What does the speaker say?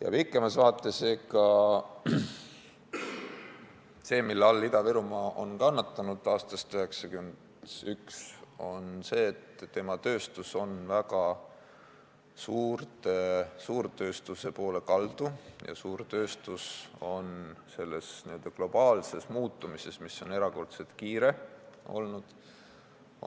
Ja pikemas vaates, see, mille all Ida-Virumaa on kannatanud aastast 1991, on see, et tema tööstus on väga suurtööstuse poole kaldu ja suurtööstus on selles n-ö globaalses muutumises, mis on erakordselt kiire olnud,